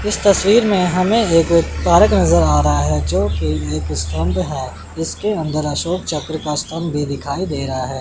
इस तस्वीर में हमें एक पार्क नजर आ रहा है जो कि पर है। इसके अंदर अशोक चक्र का स्तंभ भी दिखाई दे रहा है।